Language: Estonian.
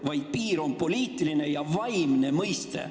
–, vaid piir on poliitiline ja vaimne mõiste.